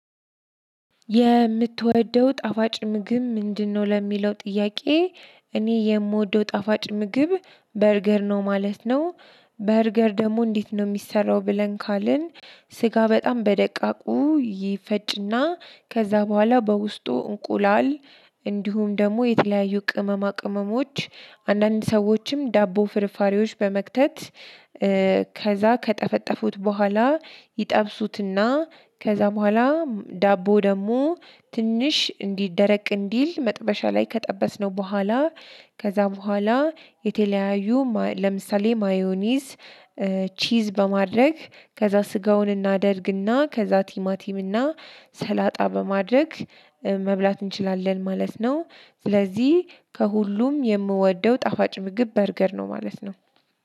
የምትወደው ጣፋጭ ምግብ ምንድነው ለሚለው ጥያቄ? እኔ የምወደው ጣፋጭ ምግብ በርገር ነው ማለት ነው። በርገር ደግሞ እንዴት ነው የሚሰራው ብለን ካልን? ስጋ በጣም በደቃቁ ይፈጭና ከዛ በኋላ በውስጡ እንቁላል እንዲሁም ደግሞ የተለያዩ ቅመማ ቅመሞች አንዳንድ ሰዎችም ዳቦ ፍርፋሬዎች በመክተት። ከዛ ከጠፈጠፉት በኋላ ይጠብሱትና ከዛ በኋላ ዳቦ ደግሞ ትንሽ እንዲደረቅ እንዲል መጥበሻ ላይ ከጠበስነው በኋላ ከዛ በኋላ የተለያዩ ለምሳሌ ማዮኒዝ። ቺዝ በማድረግ ከዛ ስጋውን እናደርግና ከዛ ቲማቲም እና ሰላጣ በማድረግ መብላት እንችላለን ማለት ነው። ስለዚህ ከሁሉም የምወደው ጣፋጭ ምግብ በርገር ነው ማለት ነው።